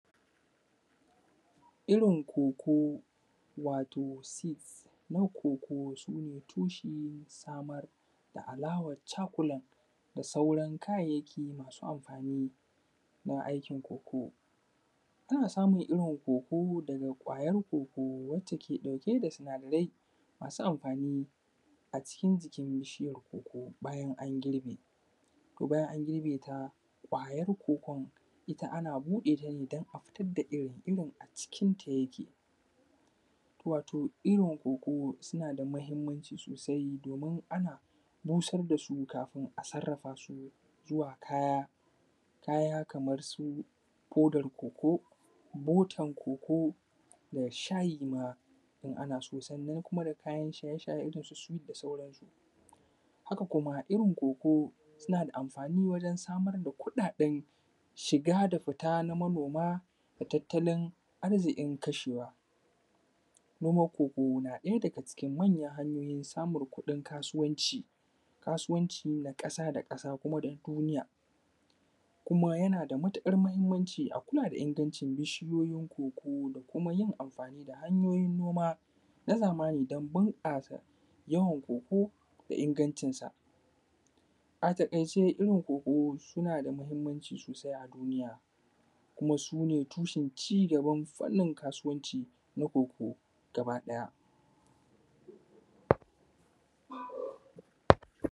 Irin coco wato seed na coco su ne tushen samar da alawan chocolate da sauran kayayyaki masu amfani don aikin coco, ana samun irin coco daga ƙwayan coco wacce take ɗauke da sinadarai masu amfani a cikin jikin bishiyar coco bayan an girɓe, to bayan an girɓe ta ƙwayar cocon ita ana buɗe ta ne don a fitar da irin, irin a cikin ta yake wato irin coco suna da muhimmanci sosai domin ana busar da su kafin a sarafa su zuwa kaya kaya kamar su kodar coco, botar coco da shayi ma in ana so sannan kuma da kayan shaye-shaye irin su sweet da sauran su, haka kuma irin coco suna da amfani wajen samar da kuɗaɗen shiga da fita na manoma da tattalin arzikin kashewa, noman coco na ɗaya daga cikin manyan hanyoyin samun kuɗin kasuwanci, kasuwanci na kasa da kasa kuma da duniya kuma yana da matuƙar muhimmanci a kula da ingancin bishiyoyin coco da kuma yin amfani da hanyoyin noma na zamani don bunkasa yawan coco da ingancin sa, a takaice irin coco suna da muhimmanci sosai a duniya kuma sune tushen ci gaban fannin kasuwanci na coco gaba ɗaya.